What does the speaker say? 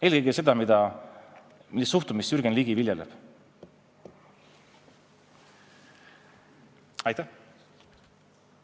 Eelkõige on kahjulik see suhtumine, mida viljeleb Jürgen Ligi.